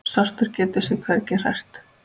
Svartur getur sig hvergi hrært.